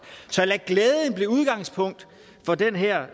så lad glæden blive udgangspunkt for den her